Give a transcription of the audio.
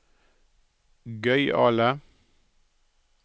gøyale